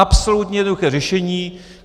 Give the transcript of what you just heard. Absolutně jednoduché řešení.